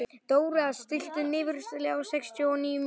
Dóra, stilltu niðurteljara á sextíu og níu mínútur.